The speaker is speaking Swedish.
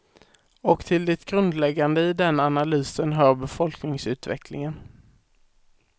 Och till det grundläggande i den analysen hör befolkningsutvecklingen.